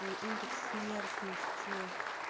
индекс смертности